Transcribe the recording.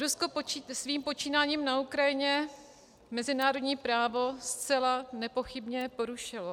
Rusko svým počínáním na Ukrajině mezinárodní právo zcela nepochybně porušilo.